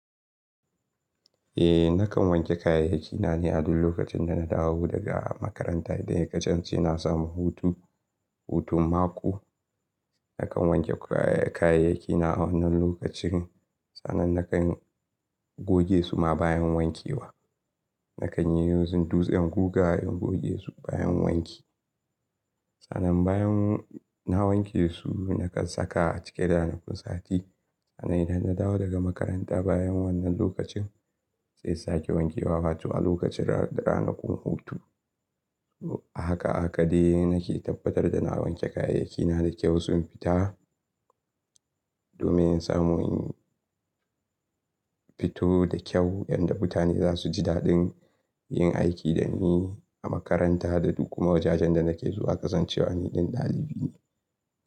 Eh, nakan wanke kayayyaki na ne a duk lokacin da na dawo daga makaranta ne. Idan ya kasance na samu hutu, hutun mako, nakan wanke kayayyaki na a wannan lokacin. Sannan nakan goge su ma bayan wankewa. Nakan yi using dutsen guga in goge su bayan wanki. Sannan bayan na wanke su, nakan saka a ciki ranakun sati. Sannan idan na dawo daga makaranta bayan wannan lokacin, saiya sake wankewa, wato a lokacin ranakun hutu. Haka haka de nake tabbatar da na wanke kayayyaki na da kyau sun fita domin in samu in fito da kyau yadda mutane za su ji daɗin yin aiki da ni a makaranta da duk kuma wajajen da nake zuwa ƙasan cewa ni ɗin ɗalibi ne.